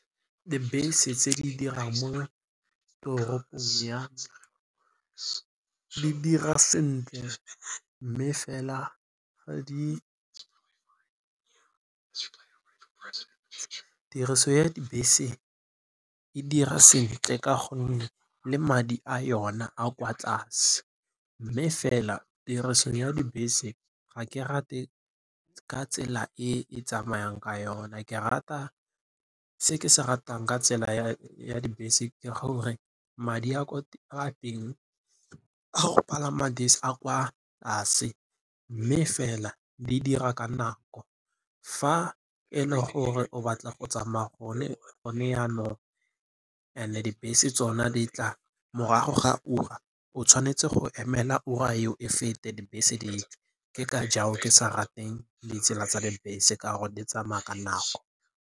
Dibese tse di dirang mo toropong ya di dira sentle mme fela tiriso ya dibese e dira sentle ka gonne le madi a yona a kwa tlase mme fela tiriso ya dibese ga ke rate ka tsela e e tsamayang ka yona. Se ke se ratang ka tsela ya dibese ke gore madi a teng a go palama dibese a kwa tlase mme fela di dira ka nako. Fa e le gore o batla go tsamaya go ne jaanong and-e dibese tsona di tla morago ga ura, o tshwanetse go emela ura eo e fete dibese ditle. Ke ka jalo ke sa rateng ditsela tsa dibese ka gore di tsamaya ka nako.